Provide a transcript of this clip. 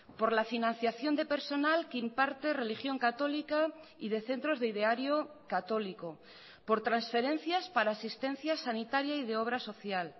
por la financiación de personal que imparte religión católica y de centros de ideario católico por transferencias para asistencia sanitaria y de obra social